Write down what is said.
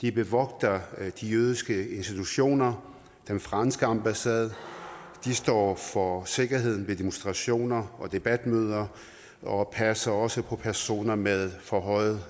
de bevogter de jødiske institutioner den franske ambassade de står for sikkerheden ved demonstrationer og debatmøder og passer også på personer med forhøjet